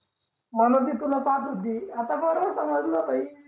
म्हणून ती तुला पाहत होती आता बरोबर समजलं भाई